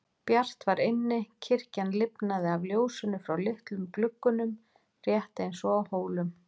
Bjart var inni, kirkjan lifnaði af ljósinu frá litlum gluggunum rétt eins og á Hólum.